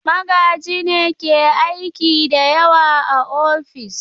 Magaji ne ke aiki da yawa a ofis.